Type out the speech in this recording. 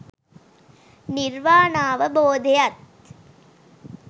නිර්වාණාවබෝධයත්